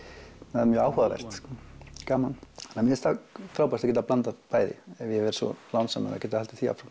það er mjög áhugavert og gaman mér finnst frábært að geta blandað bæði ef ég verð svo lánsamur að geta haldið því áfram